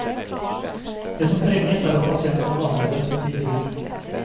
Det som trenges er at pasientene behandles som et individ.